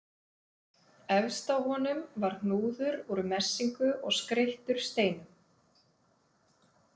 Efst á honum var hnúður úr messingu og skreyttur steinum.